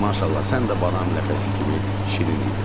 Maşallah, sən də badam ləpəsi kimi şirin idin.